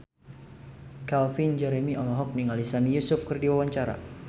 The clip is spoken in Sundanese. Calvin Jeremy olohok ningali Sami Yusuf keur diwawancara